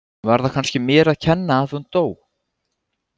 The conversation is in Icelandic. Var það kannski mér að kenna að hún dó?